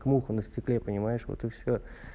муха на стекле понимаешь вот и все